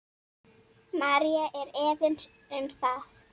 María er efins um það.